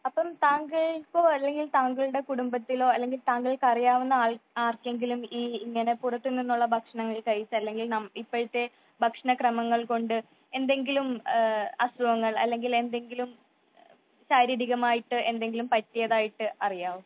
അപ്പൊ താങ്കള്‍ക്കോ അല്ലെങ്കിൽ താങ്കളുടെ കുടുംബത്തിലോ അല്ലെങ്കിൽ തങ്ങൾക്ക് അറിയാവുന്ന ആർകെങ്കിലും ഈ ഇങ്ങനെ പുറത്തു നിന്നുള്ള ഭക്ഷണം കഴിച്ച് അല്ലെങ്കില്‍ ഇപ്പോഴത്തെ ഭക്ഷണ ക്രമങ്ങൾ കൊണ്ട് എന്തെങ്കിലും അസുഖങ്ങൾ അല്ലെങ്കിൽ എന്തെങ്കിലും ശാരീരികമായിട്ട് എന്തെങ്കിലും പറ്റിയതായിട്ട് അറിയാവോ ?